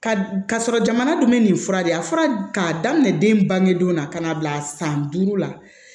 Ka sɔrɔ jamana dun bɛ nin fura de a fura k'a daminɛ den bange donna ka na bila san duuru la